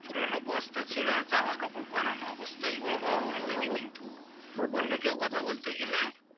পুরনো বস্তা ছেঁড়া জামাকাপড় পরানো অবস্থায় যে গুলো পড়ে থাকে কিন্তু অন্য কেউ কথা বলতে গেলে